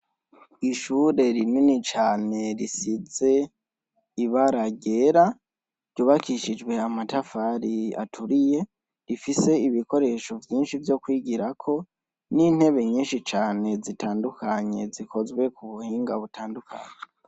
Ishure rinini cane risize ibara ryera, ryubakishijwe amatafari aturiye, rifise ibikoresho vyishi vyokwigirako nintebe nyishi cane zikozwe mubuhinga butandukanye.